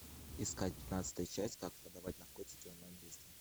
искать пятнадцатую часть как продавать наркотики онлайн быстро